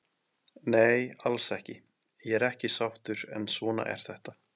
Nei alls ekki, ég er ekki sáttur en svona er þetta.